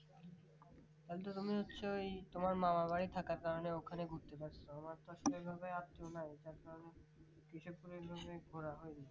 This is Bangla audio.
তালতো তুমি হচ্ছে ওই তোমার মামার বাড়ি থাকার কারণে ওখানে ঘুরতে পাচ্ছ আমার তো সেভাবে আর কেউ নাই তার কারণ কেশবপুর ঐভাবে ঘোরা হয়নি